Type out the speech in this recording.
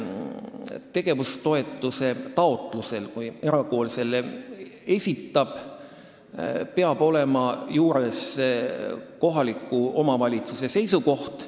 Tegevustoetuse taotlusel, kui erakool selle esitab, peab olema juures kohaliku omavalitsuse seisukoht.